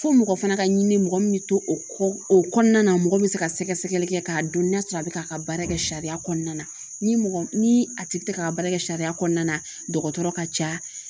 Fo mɔgɔ fana ka ɲini mɔgɔ min be to o kɔ o kɔnɔna na mɔgɔ min be se ka sɛgɛsɛgɛli kɛ ka dɔn n'a sɔrɔ a be k'a ka baara kɛ sariya kɔnɔna na ni mɔgɔ ni a tigi tɛ ka a ka baara kɛ sariya kɔnɔna na dɔgɔtɔrɔ ka ca.